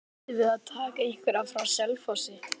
Býstu við að taka einhverja frá Selfossi?